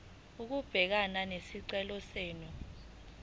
ukubhekana nesicelo senu